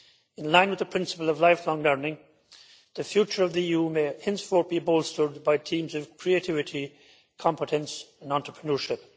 In line with the principle of lifelong learning, the future of the EU may henceforth be bolstered by teams of creativity, competence and entrepreneurship.